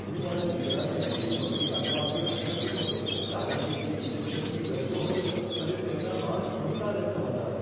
હું મારા દીકરાને નીચે પકડી રાખવા અંગે આશંકિત હતો કારણ કે તે ઇન્જેક્શનથી ડરતો હતો અને તેના હાથ ફરતા રહેતા હતા.